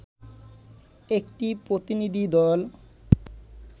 একটি প্রতিনিধি দল